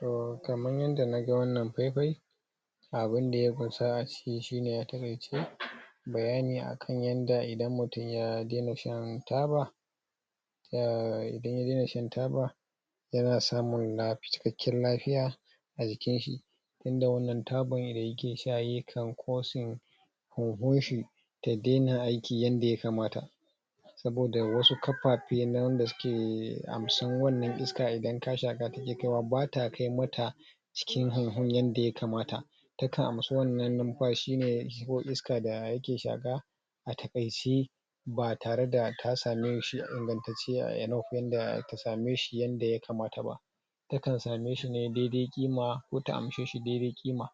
so kaman yanda na ga wannan fai-fai abun da ya kusa a ciki shi ne a takaice bayani a kan yanda idan mutum ya daina shan taba [taa] idan ya daina shan taba yana samun cikakken lafiya a jikin shi, tunda wannan taban da yake sha yakan causing huhun shi ta daina aiki yanda ya kamata saboda wasu kafafenan na wanda suke amsan wannan iskan idan ka shaka take kaiwa bata kai mata cikin huhun yanda ya kamata, ta kan amsa wannan numfashi ne ko iska da yake shaka a takaice ba tare da ta same shi a ingantatce enough ta same shi yanda yakamata ba, ta kan same shi ne daidai ƙima ko ta amshe shi daidai ƙima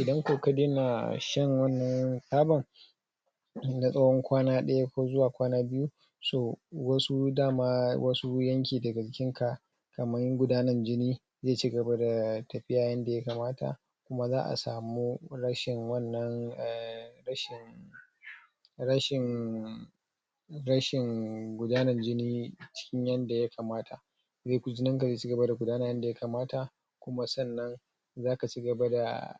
idan ko ka daina shan wannan taban na tsawon kwana daya ko zuwa kwana biyu so dama wasu dama wasu yakin daga jikinka kaman gudanar jini zai ci gaba da tafiya yanda yakamata kuma za a samu rashin wannan um rashin rashin rashin gudanar jini cikin yanda yakamata, jinin ka zai ci gaba da gudana yanda yakamata kuma sannan zaka ci gaba da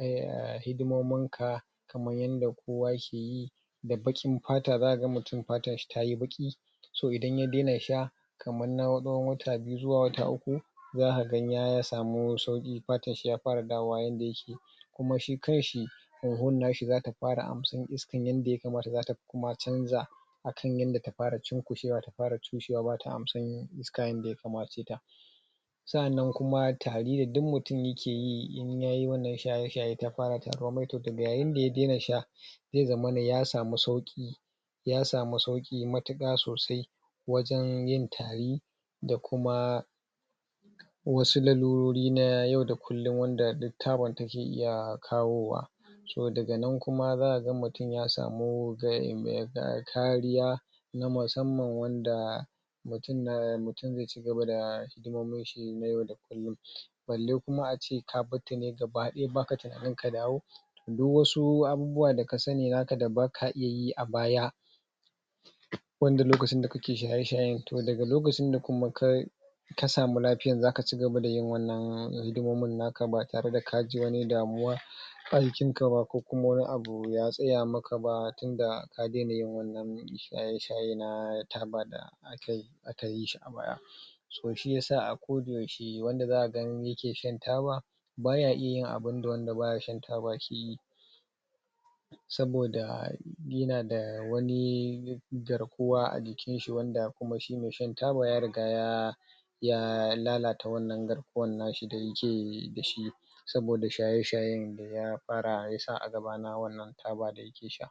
er hidimomin ka kaman yanda kowa ke da baƙin pata za ka ga mutum patan shii ta yi baƙi so idan ya daina sha kaman na tsawon wata biyu zuwa wata uku zaka ga ya samu sauki patan shi ya fara dawowa yanda yake, kuma shi kan shi huhun na shi zata fara ansan iska yanda ya kamata zata kuma canza akan yanda ta fara cunkusewa ta far cushewa bata amsan iska yanda yakamaceta. Sa'annan kuma tari da duk mutum yake yi in ya yi wannan shaye shayen ta fara taduwan mai to yayin da ya daina sha zai zamana ya samu sauki ya sanu sauki matuƙa sosai wajen yin tari da kuma wasu lalurori na yau da kullum wanda duk taban take iya kawowa so daga nan kuma za ka ga mutum ya samu kariya na musamman wanda mutum na mutum zai ci gaba da hidimomin shi na yau da kullun balle kuma a ce ka bar ta ne gaba daya baka tunani ka dawo duk wasu abubuwa da ka sani naka da ba ka iya yi a baya wanda lokacin da kake shayeshayen toh daga lokacin da kuma ka ka samu lafiyan za ka ci gaba da yin wannan hidimomin naka ba tare da kaji wani damuwa a jikin ka ba ko kuma wani abu ya tsaya maka ba tunda ka daina yin wannan shaye shaye na taba da aka aka yi shi a baya so shi yasa a ko da yaushe wanda za a gan yake shan taba baya iya yin abun da wanda baya sha taba yake yi saboda yana da wani garkuwa a jikin shi wanda shi kuma mai sha taba ya riga ya ya lalata wannan garkuwan na shi da yake da shi saboda shaye shayen da ya fara yasa a gaba na wannan taba da yake sha.